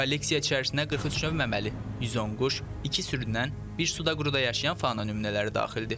Kolleksiya içərisinə 43 növ məməli, 110 quş, iki sürünən, bir suda quruda yaşayan fauna nümunələri daxildir.